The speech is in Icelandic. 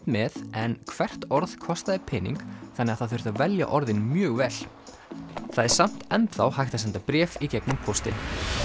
með en hvert orð kostaði pening þannig að það þurfti að velja orðin mjög vel það er samt enn þá hægt að senda bréf í gegnum póstinn